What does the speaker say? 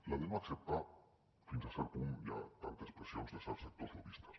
la de no acceptar fins a cert punt hi ha tantes pressions de certs sectors lobbistes